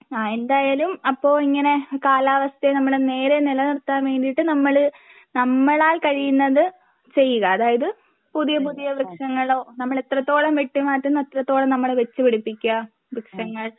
ആ എന്തായാലും അപ്പോ ഇങ്ങനെ കാലാവസ്ഥയെ നമ്മള് നേരെ നിലനിർത്താൻ വേണ്ടിയിട്ട് നമ്മള് നമ്മളാൽ കഴിയുന്നത് ചെയ്യുക അതായത് പുതിയ പുതിയ വൃക്ഷങ്ങളോ നമ്മൾ എത്രത്തോളം വെട്ടി മാറ്റുന്നു അത്രത്തോളം നമ്മള് വെച്ചുപിടിപ്പിക്കുക വൃക്ഷങ്ങൾ